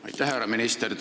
Aitäh!